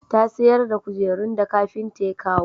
Ta sayar da kujerun da kafinta ya kawo